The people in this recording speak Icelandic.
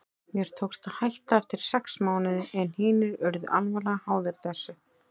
Mér tókst að hætta eftir sex mánuði en hinir urðu alvarlega háðir þessu.